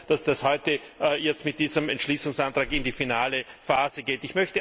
Ich bin froh, dass das heute jetzt mit diesem Entschließungsantrag in die finale Phase geht.